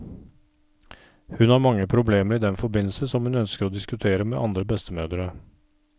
Hun har mange problemer i den forbindelse som hun ønsker å diskutere med andre bestemødre.